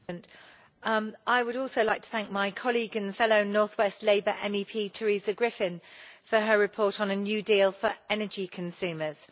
Mr President, I would also like to thank my colleague and fellow North-West Labour MEP Teresa Griffin for her report on a new deal for energy consumers.